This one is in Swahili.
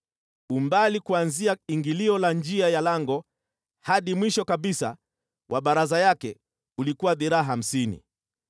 Umbali kuanzia ingilio la njia ya lango hadi mwisho kabisa wa baraza yake ulikuwa dhiraa hamsini.